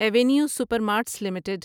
avenue super marts limited